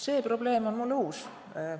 See probleem on mulle uus.